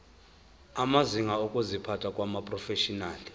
amazinga okuziphatha kumaprofeshinali